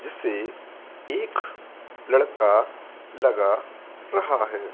जिसे एक लड़का लगा रहा है।